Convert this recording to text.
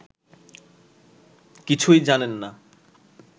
কিছুই জানেন না